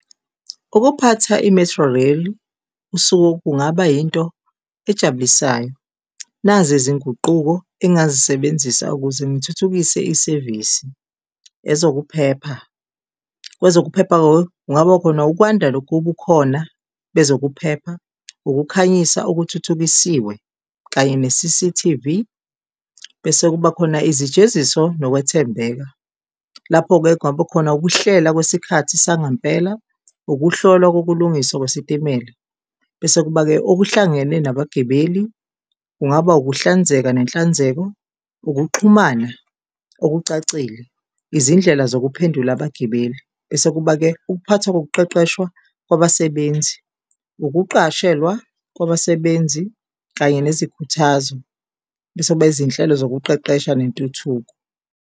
Ukuphatha i-Metrorail usuku kungaba yinto ejabulisayo. Nazi izinguquko engingazisebenzisa ukuze ngithuthukise isevisi, ezokuphepha, kwezokuphepha kungaba khona ukwanda lokhu okukhona bezokuphepha, ukukhanyisa okuthuthukisiwe kanye ne-C_C_T_V. Bese kuba khona izijeziso nokwethembeka, lapho-ke kungaba khona ukuhlela kwesikhathi sangempela, ukuhlolwa kokulungiswa kwesitimela. Bese kuba-ke okuhlangene nabagibeli, kungaba ukuhlanzeka nenhlanzeko, ukuxhumana okucacile, izindlela zokuphendula abagibeli. Bese kuba-ke ukuphathwa ngokuqeqeshwa kwabasebenzi, ukuqashelwa kwabasebenzi kanye nezikhuthazo, bese kuba izinhlelo zokuqeqesha nentuthuko.